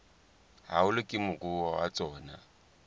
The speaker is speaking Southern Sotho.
haholo ke moruo wa tsona